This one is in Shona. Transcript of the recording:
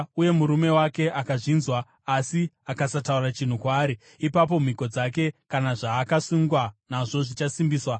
uye murume wake akazvinzwa asi akasataura chinhu kwaari, ipapo mhiko dzake kana zvaakazvisunga nazvo zvichasimbiswa.